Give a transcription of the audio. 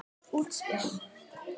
Dýrt útspil.